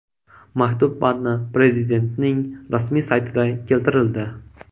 Maktub matni Prezidentning rasmiy saytida keltirildi .